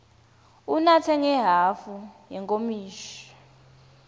unatse ngehhafu yenkomishi